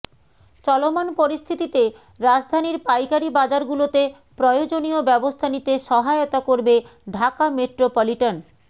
চলমান পরিস্থিতিতে রাজধানীর পাইকারি বাজারগুলোতে প্রয়োজনীয় ব্যবস্থা নিতে সহায়তা করবে ঢাকা মেট্রোপলিটন